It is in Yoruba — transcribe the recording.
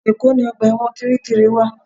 Èkó ni ọgbà ẹ̀wọ̀n Kirikiri wa